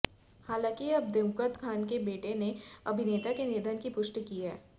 हालांकि अब दिवंगत खान के बेटे ने अभिनेता के निधन की पुष्टि की है